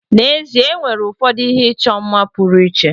N'ezie, e nwere ụfọdụ ihe ịchọ mma pụrụ iche.